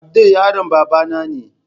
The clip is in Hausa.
Abdul yaron babana ne.